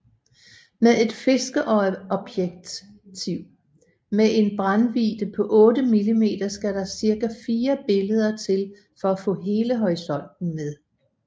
Med et fiskeøjeobjektiv med en brændvidde på 8mm skal der ca fire billeder til for at få hele horisonten med